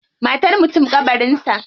Matar mutum kabarin sa.